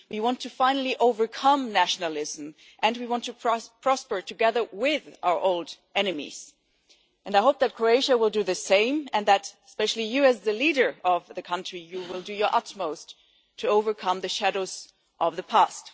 We want to finally overcome nationalism, and we want to prosper together with our old enemies. I hope that Croatia will do the same, and that especially you as the leader of the country will do your utmost to overcome the shadows of the past.